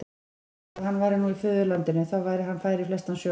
Bara að hann væri nú í föðurlandinu, þá væri hann fær í flestan sjó.